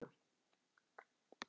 Hjálpið manninum á fætur.